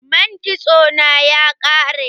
Man kitso na ya ƙare.